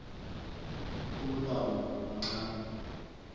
ulmlambo muncani